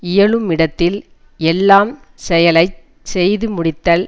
இயலுமிடத்தில் எல்லாம் செயலை செய்து முடித்தல்